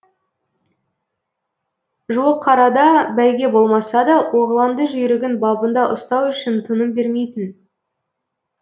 жуықарада бәйге болмаса да оғланды жүйрігін бабында ұстау үшін тыным бермейтін